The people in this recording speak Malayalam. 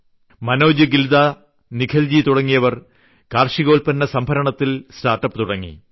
മനോജ് ഗിൽദ നിഖിൽജി തുടങ്ങിയവർ കാർഷികോത്പന്ന സംഭരണത്തിൽ സ്റ്റാർട്ട്അപ്പ് തുടങ്ങി